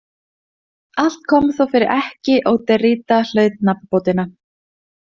Allt kom þó fyrir ekki, og Derrida hlaut nafnbótina.